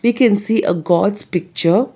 We can see a gods picture.